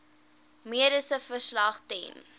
mediese verslag ten